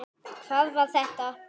HVAÐ VAR ÞETTA?